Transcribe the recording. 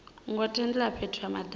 ngo tendelwa fhethu ha madaka